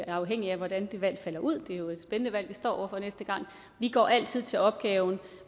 er afhængigt af hvordan valget falder ud det er jo et spændende valg vi står over for næste gang vi går altid til opgaven